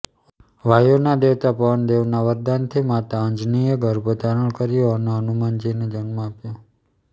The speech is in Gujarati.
વાયુના દેવતા પવનદેવના વરદાનથી માતા અંજનિએ ગર્ભ ધારણ કર્યો અને હનુમાનજીને જન્મ આપ્યો